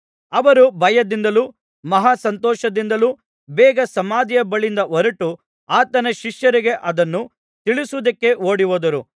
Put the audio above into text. ಅವರು ಭಯದಿಂದಲೂ ಮಹಾ ಸಂತೋಷದಿಂದಲೂ ಬೇಗ ಸಮಾಧಿಯ ಬಳಿಯಿಂದ ಹೊರಟು ಆತನ ಶಿಷ್ಯರಿಗೆ ಅದನ್ನು ತಿಳಿಸುವುದಕ್ಕೆ ಓಡಿಹೋದರು